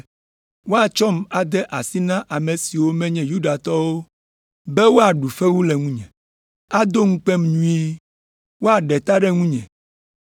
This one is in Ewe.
Woatsɔm ade asi na Ame siwo menye Yudatɔwo be woaɖu fewu le ŋunye, ado ŋukpem nyuie, woaɖe ta ɖe ŋunye,